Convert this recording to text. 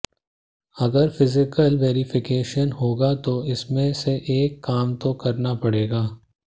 अगर physical verification होगा तो इसमें से एक काम तो करना पड़ेगा